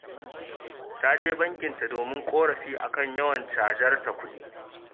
Ta je bakinta domin ƙorafi a kan yawan cajar ta kuɗi